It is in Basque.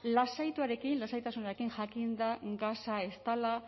lasaituarekin lasaitasunarekin jakinda gasa ez dela